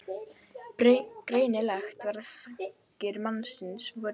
Greinilegt var að þankar mannsins voru í þyngra lagi.